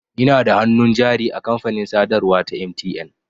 Ina da hannun jari a kamfanin sadarwa ta MTN.